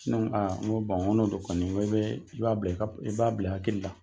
Ne Ko aa nko bon n'o dɔ kɔni nko e bee i nb'a bila i ka i ka hakilila